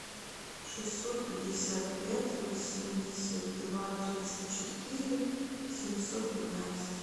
шестьсот пятьдесят пять восемьдесят два тридцать четыре семьсот пятнадцать